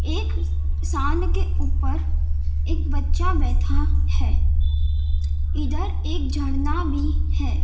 एक सामने के ऊपर एक बच्चा बैठा है इधर एक झरना भी है।